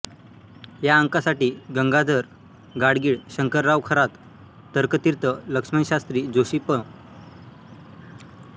या अंकासाठी गंगाधर गाडगीळ शंकरराव खरात तर्कतीर्थ लक्ष्मणशास्त्री जोशी पं